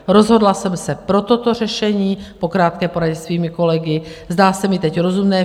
Rozhodla jsem se pro toto řešení po krátké poradě se svými kolegy, zdá se mi teď rozumné.